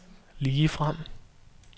ligefrem